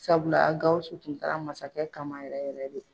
Sabula GAWUSU tun taara masakɛ kama yɛrɛ yɛrɛ de.